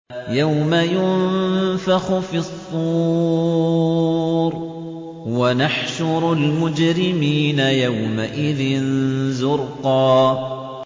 يَوْمَ يُنفَخُ فِي الصُّورِ ۚ وَنَحْشُرُ الْمُجْرِمِينَ يَوْمَئِذٍ زُرْقًا